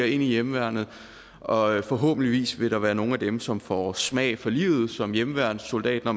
i hjemmeværnet og forhåbentlig vil der være nogle af dem som får smag for livet som hjemmeværnssoldat når